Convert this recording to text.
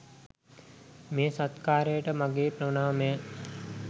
මේ සත්කාරයට මගේ ප්‍රණාමය.